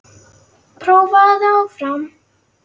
Prófaðu þig áfram!